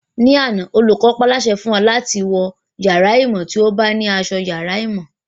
Ní àná, olùkọ́ paálásẹ fún wa láti má wọ yàrá ìmọ̀ tí a ò bá ní asọ yàrá ìmọ̀